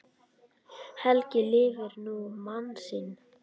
Helga lifir nú mann sinn.